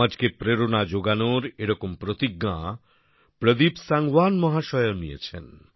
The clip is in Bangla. সমাজকে প্রেরণা জোগানোর এরকম প্রতিজ্ঞা প্রদীপ সাংওয়ান মহাশয়ও নিয়েছেন